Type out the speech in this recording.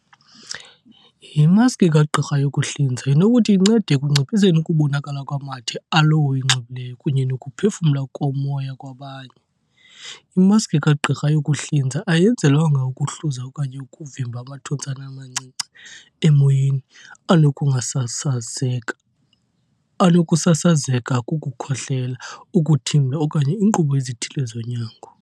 Imaski kagqirha yokuhlinza inokuthi incede ekunciphiseni ukubonakala kwamathe alowo uyinxibileyo kunye nokuphefumla komoya kwabanye. Imaski kagqirha yokuhlinza ayenzelwanga ukuhluza okanye ukuvimba amathontsana amancinci emoyeni anokusasazeka kukukhohlela, ukuthimla, okanye iinkqubo ezithile zonyango.